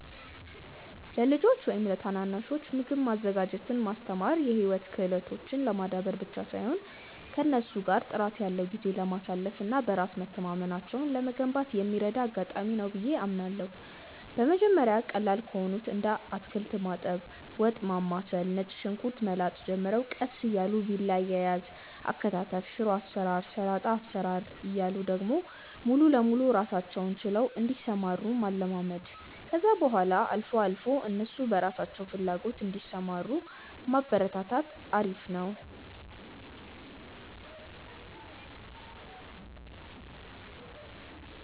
ለልጆች ወይም ለታናናሾች ምግብ ማዘጋጀትን ማስተማር የህይወት ክህሎትን ለማዳበር ብቻ ሳይሆን ከእነሱ ጋር ጥራት ያለው ጊዜ ለማሳለፍ እና በራስ መተማመናቸውን ለመገንባት የሚረዳ አጋጣሚ ነው ብዬ አምናለሁ። በመጀመሪያ ቀላል ከሆኑት እንደ አታክልት ማጠብ፣ ወጥ ማማሰል፣ ነጭ ሽንኩርት መላጥ ጀምረው ቀስ እያሉ ቢላ አያያዝ፣ አከታተፍ፣ ሽሮ አሰራር፣ ሰላጣ አሰራር እያሉ ደግሞ ሙሉ ለሙሉ ራሳቸውን ችለው እንዲሰሩ ማለማመድ፣ ከዛ በኋላ አልፎ አልፎ እነሱ በራሳቸው ፍላጎት እንዲሰሩ ማበረታታት አሪፍ ነው።